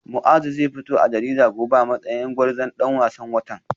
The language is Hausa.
Muazu zai fito a jarida gobe a matsayin gwarzon dan wasan watan